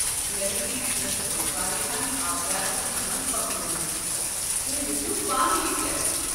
Lemon ٹی چھُنس بہٕ واریاہن آورِیار كین دوہن پكنوومُت، تۄہہِ وچھِو پانہٕ یہِ چٮ۪تھ۔